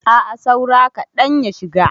A'a saura kaɗan ya shiga.